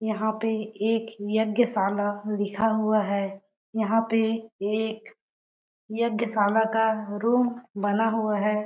यहाँ पे एक यज्ञशाला लिखा हुआ है। यहाँ पे एक यज्ञशाला का रूम बना हुआ है।